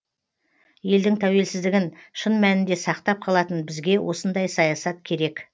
елдің тәуелсіздігін шын мәнінде сақтап қалатын бізге осындай саясат керек